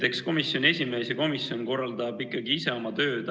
Eks komisjoni esimees ja komisjon korraldavad ikka ise oma tööd.